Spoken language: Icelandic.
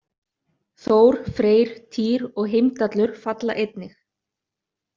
Þór, Freyr, Týr og Heimdallur falla einnig.